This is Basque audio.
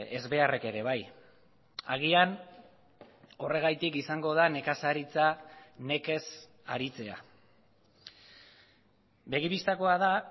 ezbeharrek ere bai agian horregatik izango da nekazaritza nekez aritzea begi bistakoa da